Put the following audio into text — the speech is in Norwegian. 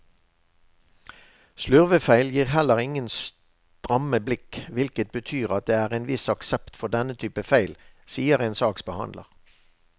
Slurvefeil gir heller ingen stramme blikk, hvilket betyr at det er en viss aksept for denne typen feil, sier en saksbehandler.